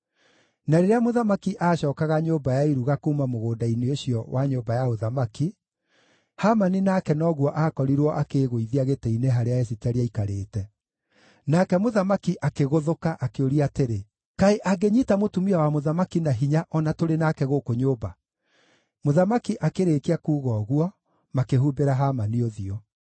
Na rĩrĩa mũthamaki aacookaga nyũmba ya iruga kuuma mũgũnda-inĩ ũcio wa nyũmba ya ũthamaki, Hamani nake noguo aakorirwo akĩĩgũithia gĩtĩ-inĩ harĩa Esiteri aaikairĩte. Nake mũthamaki akĩgũthũka, akĩũria atĩrĩ, “Kaĩ angĩnyiita mũtumia wa mũthamaki na hinya o na tũrĩ nake gũkũ nyũmba?” Mũthamaki akĩrĩkia kuuga ũguo, makĩhumbĩra Hamani ũthiũ.